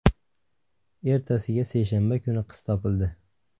Ertasiga, seshanba kuni qiz topildi.